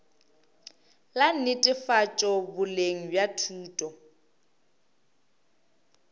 la netefatšo boleng bja thuto